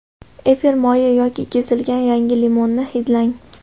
Efir moyi yoki kesilgan yangi limonni hidlang.